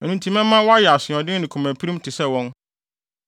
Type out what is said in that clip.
Ɛno nti mɛma woayɛ asoɔden ne komapirim te sɛ wɔn.